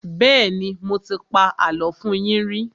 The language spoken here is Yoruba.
Bẹ́ẹ́nì, mo ti pa àlọ́ fún yín rí.